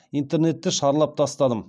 интернетті шарлап тастадым